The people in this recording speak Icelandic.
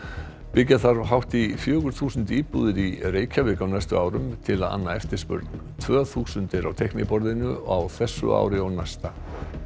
byggja þarf hátt í fjögur þúsund íbúðir í Reykjavík á næstu árum til að anna eftirspurn tvö þúsund eru á teikniborðinu á þessu ári og næsta